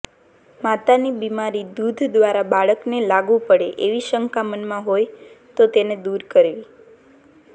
માતાની બીમારી દૂધ દ્વારા બાળકને લાગુ પડે એવી શંકા મનમાં હોય તો તેને દૂર કરવી